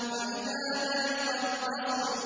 فَإِذَا بَرِقَ الْبَصَرُ